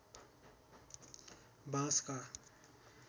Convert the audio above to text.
बाँसका